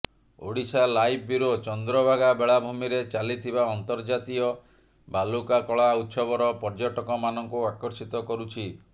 Odisha live bureau Chandrabhaga ବେଳାଭୂମିରେ ଚାଲିଥିବା ଅନ୍ତର୍ଜାତୀୟ ବାଲୁକା କଳା ଉତ୍ସବର ପର୍ଯ୍ୟଟକମାନଙ୍କୁ ଆକର୍ଷିତ କରୁଛି